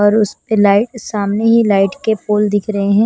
और उसपे लाइट सामने ही लाइट के पोल दिख रहे हैं।